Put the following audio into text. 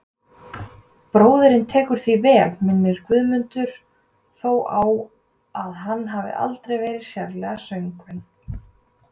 Bróðirinn tekur því vel, minnir Guðmund þó á að hann hafi aldrei verið sérlega söngvinn.